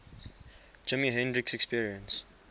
jimi hendrix experience